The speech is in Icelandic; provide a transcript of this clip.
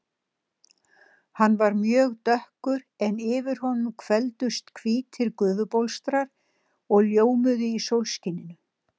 Hann var mjög dökkur en yfir honum hvelfdust hvítir gufubólstrar og ljómuðu í sólskininu.